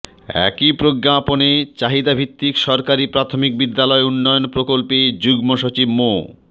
একই প্রজ্ঞাপনে চাহিদাভিত্তিক সরকারি প্রাথমিক বিদ্যালয় উন্নয়ন প্রকল্পে যুগ্ম সচিব মো